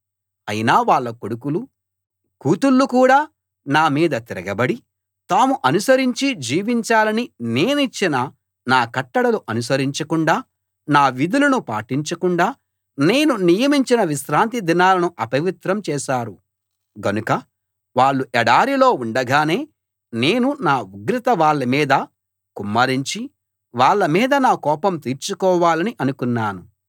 అయినా వాళ్ళ కొడుకులు కూతుళ్ళు కూడా నా మీద తిరగబడి తాము అనుసరించి జీవించాలని నేనిచ్చిన నా కట్టడలు అనుసరించకుండా నా విధులను పాటించకుండా నేను నియమించిన విశ్రాంతి దినాలను అపవిత్రం చేశారు గనుక వాళ్ళు ఎడారిలో ఉండగానే నేను నా ఉగ్రత వాళ్ళ మీద కుమ్మరించి వాళ్ళ మీద నా కోపం తీర్చుకోవాలని అనుకున్నాను